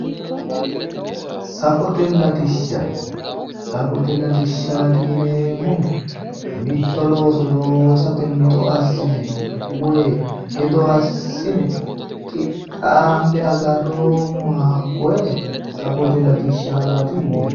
Safote latisha safote latishaati yineemohu mitto looso loosate mixo assine woyi hedo assine qixaanibe agaroomowa hakkoye safote lailtishaati Yineemo